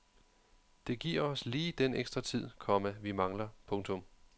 Det giver os lige den ekstra tid, komma vi mangler. punktum